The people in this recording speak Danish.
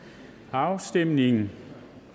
afstemningen